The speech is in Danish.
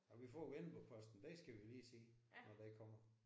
Ej vi får Vendelboposten. Den skal vi lige se når den kommer